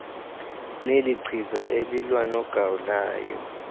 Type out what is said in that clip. nelichiza elilwa nogawulayo